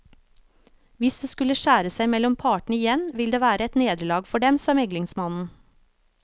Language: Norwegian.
Hvis det skulle skjære seg mellom partene igjen, vil det være et nederlag for dem, sa meglingsmannen.